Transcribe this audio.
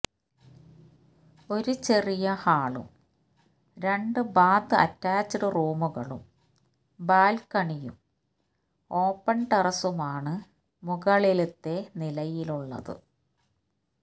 ഒരു ചെറിയ ഹാളും രണ്ട് ബാത് അറ്റാച്ച്ഡ് റൂമുകളും ബാല്ക്കണിയും ഓപ്പണ് ടെറസുമാണ് മുകളിലത്തെ നിലയിലുള്ളത്